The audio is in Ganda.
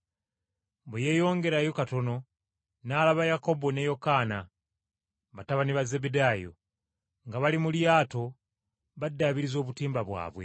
Bwe yeeyongerayo katono, n’alaba Yakobo ne Yokaana batabani ba Zebbedaayo, nga bali mu lyato baddaabiriza obutimba bwabwe.